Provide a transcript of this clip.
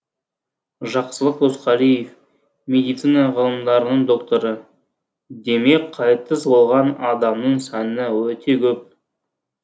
жақсылық досқалиев медицина ғылымдарының докторы демек қайтыс болған адамның саны өте көп